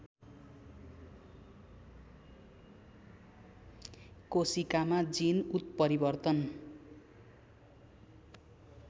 कोशिकामा gene उत्परिवर्तन